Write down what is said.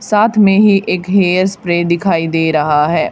साथ में ही एक हेयर स्प्रे दिखाई दे रहा है।